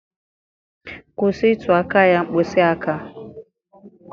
Kwụsị ịtụ aka ya mkpịsị aka